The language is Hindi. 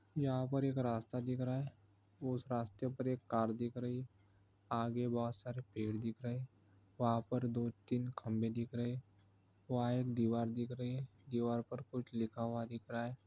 यहाँ पर एक रास्ता दिख रहा हैं। उस रास्ते पर एक कार दिख रही हैं। आगे बहुत सारे पेड़ दिख रहे हैं। वहाँ पर दो तीन खंबे दिख रहे हैं। वहाँ एक दीवार दिख रही हैं। दिवार पर कुछ लिखा हुआ दिख रहा हैं।